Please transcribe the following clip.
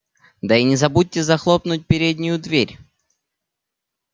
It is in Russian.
да и не забудьте захлопнуть переднюю дверь